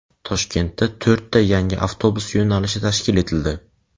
Toshkentda to‘rtta yangi avtobus yo‘nalishi tashkil etildi.